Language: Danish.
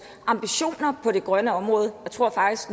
ambitioner på det grønne område jeg tror faktisk